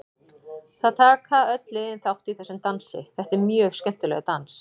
Það taka öll liðin þátt í þessum dansi, þetta er mjög skemmtilegur dans.